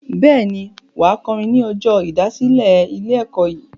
Bẹ́ẹ̀ ni, wà á kọrin ní ọjọ́ ìdásílẹ̀ ilé-ẹ̀kọ́ yìí.